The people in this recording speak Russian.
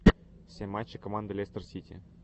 все матчи команды лестер сити